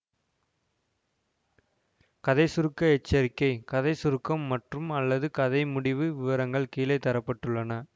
கதை சுருக்க எச்சரிக்கை கதை சுருக்கம் மற்றும்அல்லது கதை முடிவு விவரங்கள் கீழே தர பட்டுள்ளன